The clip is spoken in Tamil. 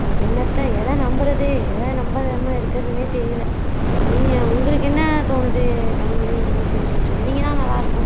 என்னத்த எதை நம்புறது எதை நம்பாம இருக்கதுன்னே தெரியல நீ ஏன், உங்களுக்கு என்ன தோணுது கனிமொழி நீங்க கொஞ்சம் சொன்னீங்கன்னா நல்லா இருக்கும்